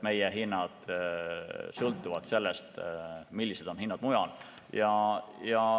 Meie hinnad sõltuvad sellest, millised on hinnad mujal.